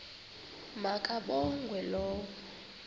ma kabongwe low